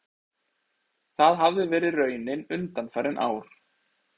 Það hafi verið raunin undanfarin ár